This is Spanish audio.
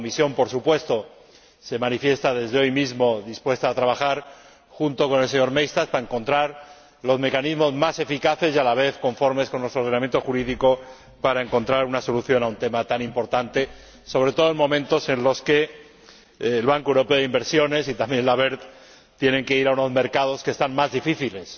La Comisión, por supuesto, se manifiesta, desde hoy mismo, dispuesta a trabajar junto con el señor Maystadt para encontrar los mecanismos más eficaces y a la vez conformes con nuestro ordenamiento jurídico con objeto de hallar una solución a un tema tan importante, sobre todo en momentos en los que el Banco Europeo de Inversiones y también el BERD tienen que recurrir a unos mercados que son más difíciles